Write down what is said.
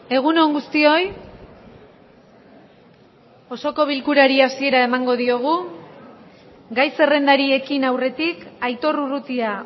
egun on guztioi osoko bilkurari hasiera emango diogu gai zerrendari ekin aurretik aitor urrutia